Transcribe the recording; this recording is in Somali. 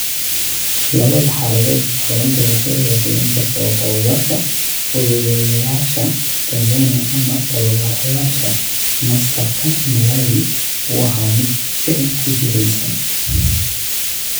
Labada xaaladoodba, xaruntu waxay ogaatay, in kasta oo tababbarka Fududeeyayaasha (Tanzania) ama Tababarayaasha Master-ka (Malawi) uu ahaa mid ficil ku jihaysan.